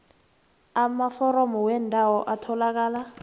amaforomo weembawo atholakala